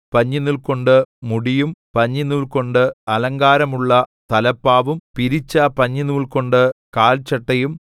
പഞ്ഞിനൂൽകൊണ്ട് മുടിയും പഞ്ഞിനൂൽകൊണ്ട് അലങ്കാരമുള്ള തലപ്പാവും പിരിച്ച പഞ്ഞിനൂൽകൊണ്ട് കാൽച്ചട്ടയും